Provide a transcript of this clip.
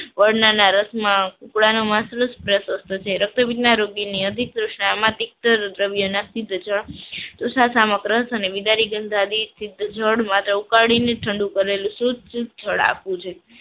વરનાના રસમાં કુકડાનું માસ પ્રશસ્ત્ર છે રક્તપિત ના રોગીને અધિક ઉકાળીને ઠંડુ કરેલું શુદ્ધ ફળ આપ્યું છે